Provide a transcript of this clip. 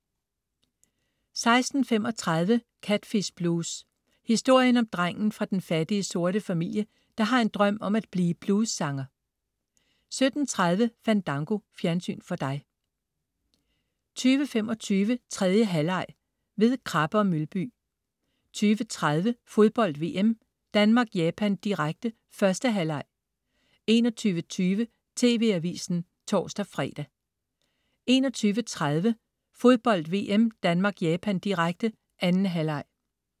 16.35 Catfish blues. Historien om drengen fra den fattige, sorte familie, der har en drøm om at blive bluessanger 17.30 Fandango. Fjernsyn for dig 20.25 3. halvleg ved Krabbe & Mølby 20.30 Fodbold VM: Danmark-Japan, direkte. 1. halvleg 21.20 TV Avisen (tors-fre) 21.30 Fodbold VM: Danmark-Japan, direkte. 2. halvleg